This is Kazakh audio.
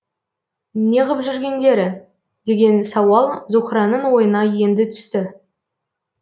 неғып жүргендері деген сауал зуһраның ойына енді түсті